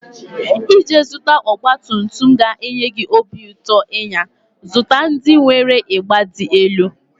Iji zụta ọgbatumtum ga-enye gị obi ụtọ ịnya, zụta ndị nwere ịgba dị elu.